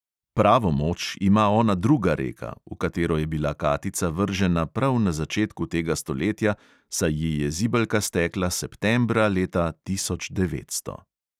Pravo moč ima ona druga reka, v katero je bila katica vržena prav na začetku tega stoletja, saj ji je zibelka stekla septembra leta tisoč devetsto.